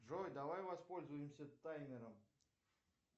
джой давай воспользуемся таймером